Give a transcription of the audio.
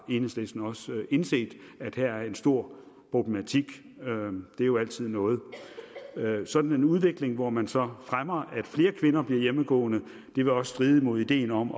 enhedslisten også indset at her er en stor problematik det er jo altid noget sådan en udvikling hvor man så fremmer at flere kvinder bliver hjemmegående vil også stride mod ideen om